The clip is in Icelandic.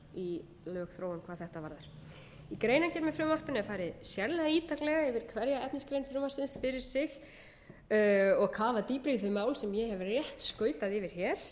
í lögþróun hvað þetta varðar í greinargerð með frumvarpinu er farið sérlega ítarlega yfir hverja efnisgrein frumvarpsins fyrir sig og kafað dýpra í þau mál sem ég hef rétt skautað yfir hér